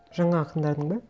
жаңа ақындардың ба